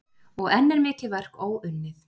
Og enn er mikið verk óunnið.